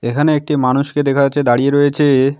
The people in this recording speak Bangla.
এখানে একটি মানুষকে দেখা যাচ্ছে দাঁড়িয়ে রয়েছে।